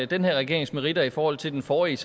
den her regerings meritter i forhold til den forrige